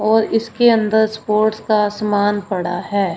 और इसके अंदर स्पोर्ट्स का समान पड़ा है।